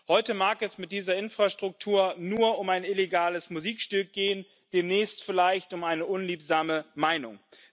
Heute mag es mit dieser Infrastruktur nur um ein illegales Musikstück gehen, demnächst vielleicht um eine unliebsame Meinung.